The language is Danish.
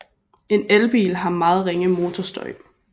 En elbil har meget ringe motorstøj